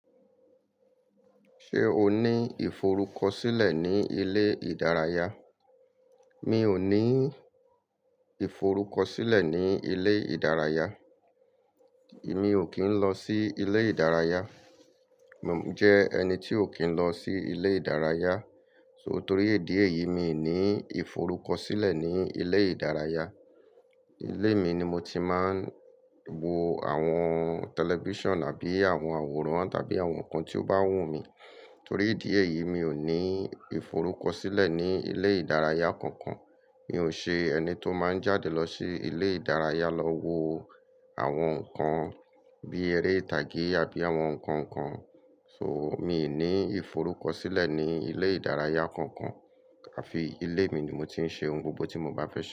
Ṣé o ní ìforúkọ̀sílẹ̀ ní ilé ìdárayá? Mi ò ní ìforúkọ̀sílẹ̀ ní ilé ìdárayá. Mi ò kí ń lọ sí ilé ìdárayá. Mo jẹ́ ẹni tí ò kí ń lọ sí ilé ìdárayá. So, torí idi eyìí mi ò ní ìforúkọ̀sílẹ̀ ní ilé ìdárayá. Ilé mi ni mo ti máa ń wo àwọn tẹlifíṣàn àbí àwọn àwòrán tàbí àwọn nǹkan tí ó bá wù mí. Torí èdè yìí mi ò ní ìforúkọ̀sílẹ̀ ní ilé ìdárayá kankan. Mi ò ṣe ẹni tó máa ń jáde lọ sí ilé ìdárayá lọ wo àwọn nǹkan bí eré ìtàgé àbí àwọn nǹkan kan. So mi ò ní ìforúkọ̀sílẹ̀ ní ilé ìdárayá kankan àfi ilé mi ni mo ti ń ṣe ohun gbogbo tí mo bá fẹ́ ṣe.